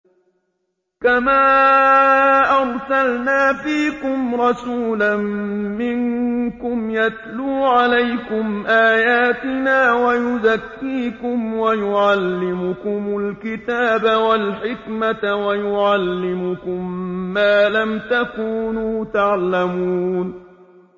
كَمَا أَرْسَلْنَا فِيكُمْ رَسُولًا مِّنكُمْ يَتْلُو عَلَيْكُمْ آيَاتِنَا وَيُزَكِّيكُمْ وَيُعَلِّمُكُمُ الْكِتَابَ وَالْحِكْمَةَ وَيُعَلِّمُكُم مَّا لَمْ تَكُونُوا تَعْلَمُونَ